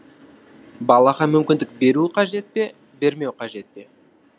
балаға мүмкіндік беру қажет пе бермеу қажет пе